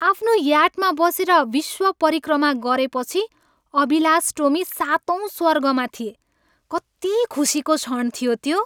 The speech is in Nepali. आफ्नो याटमा बसेर विश्व परिक्रमा गरेपछि अभिलाष टोमी सातौँ स्वर्गमा थिए। कति खुसीको क्षण थियो त्यो!